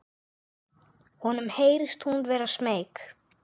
Honum heyrist hún vera smeyk.